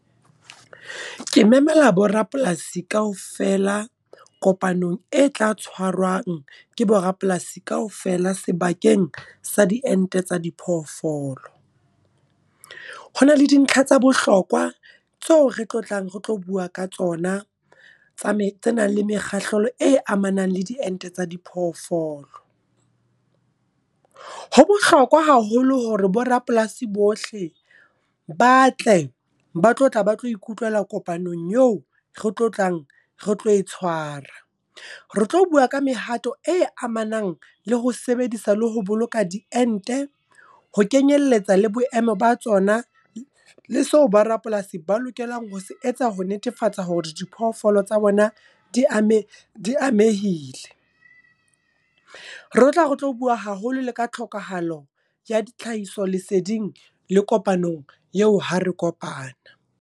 Ke memela borapolasi kaofela, kopanong e tla tshwarwang ke borapolasi kaofela sebakeng sa diente tsa diphoofolo. Honale dintlha tsa bohlokwa tseo re tlo tlang retlo bua ka tsona, le mekgahlelo e amanang le diente tsa diphoofolo. Ho bohlokwa haholo hore bo rapolasi bohle ba tle, ba tlo tla ba tlo ikutlwela kopanong eo re tlo tlang re tlo e tshwara. Re tlo bua ka mehato e amanang le ho sebedisa le ho boloka diente. Ho kenyelletsa le boemo ba tsona, le seo ba rapolasi ba lokelang ho se etsa ho netefatsa hore diphoofolo tsa bona di amehile. Re tla re tlo bua haholo le ka tlhokahalo ya tlhahiso leseding, le kopanong yeo ha re kopana.